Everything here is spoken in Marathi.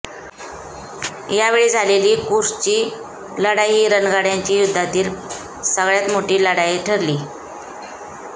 यावेळी झालेली कुर्स्कची लढाई ही रणगाड्यांची युद्धातील सगळ्यात मोठी लढाई ठरली